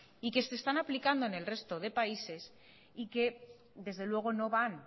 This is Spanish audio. y que se están aplicando en el resto de países y que desde luego no van